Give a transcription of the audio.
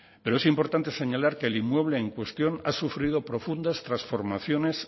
pero es importante señalar que el inmueble en cuestión ha sufrido profundas transformaciones